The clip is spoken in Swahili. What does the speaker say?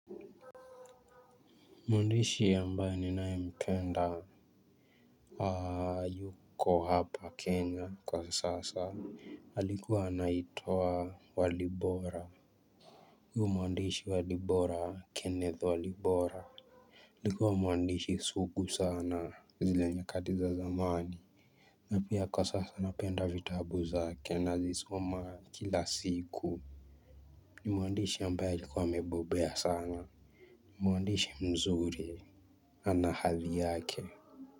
Mwandishi ambaye ninayempenda hayuko hapa Kenya kwa sasa. Alikuwa anaitwa walibora huyu mwandishi walibora kenneth walibora. Alikuwa mwandishi sugu sana zile nyakati za zamani. Na pia kwa sasa napenda vitabu zake nazizoma kila siku. Ni mwandishi ambaye alikuwa amebobea sana. Mwandishi mzuri ana hadhi yake.